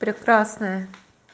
прекрасная